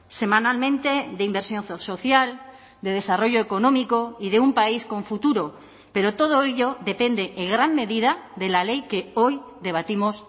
semanalmente de inversión social de desarrollo económico y de un país con futuro pero todo ello depende en gran medida de la ley que hoy debatimos